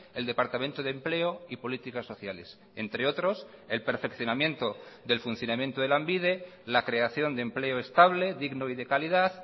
el departamento de empleo y políticas sociales entre otros el perfeccionamiento del funcionamiento de lanbide la creación de empleo estable digno y de calidad